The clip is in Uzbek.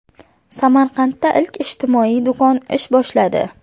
Samarqandda ilk ijtimoiy do‘kon ish boshladi.